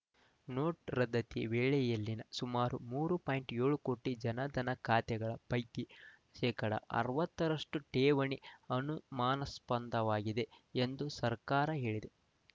note ರದ್ದತಿ ವೇಳೆಯಲ್ಲಿನ ಸುಮಾರು ಮೂರು ಪಾಯಿಂಟ್ ಏಳು ಕೋಟಿ ಜನಧನ ಖಾತೆಗಳ ಪೈಕಿ ಶೇಕಡಾ ಅರವತ್ತರಷ್ಟು ಠೇವಣಿ ಅನುಮಾನಾಸ್ಪದವಾಗಿವೆ ಎಂದು ಸರ್ಕಾರ ಹೇಳಿದೆ